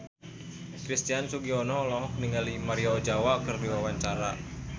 Christian Sugiono olohok ningali Maria Ozawa keur diwawancara